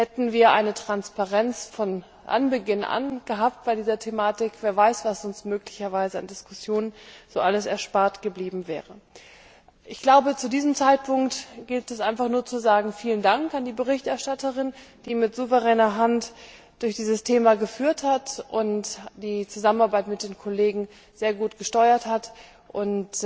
Hätten wir bei dieser Thematik von Beginn an eine Transparenz gehabt, wer weiß, was uns möglicherweise an Diskussionen so alles erspart geblieben wäre. Ich glaube, zu diesem Zeitpunkt gilt es einfach nur zu sagen Vielen Dank an die Berichterstatterin, die mit souveräner Hand durch dieses Thema geführt hat und die Zusammenarbeit mit den Kollegen sehr gut gesteuert hat, und